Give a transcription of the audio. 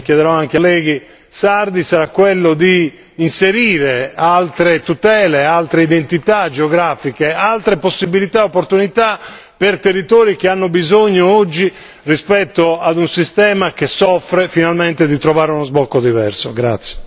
Pertanto, il mio impegno lo chiederò anche agli altri colleghi sardi sarà quello di inserire altre tutele, altre identità geografiche, altre possibilità e opportunità per territori che hanno bisogno oggi, rispetto ad un sistema che soffre, di trovare finalmente uno sbocco diverso.